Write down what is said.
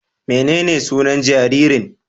Menene sunan jaririn?